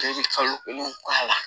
I bɛ kalo kelen k'a la